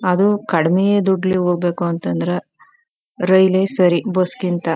ಅದು ಕಡಿಮೆ ದುಡ್ಲಿ ಹೋಗಬೇಕಂತಂದ್ರೆ ರೈಲೆ ಸರಿ ಬಸ್ ಗಿಂತ .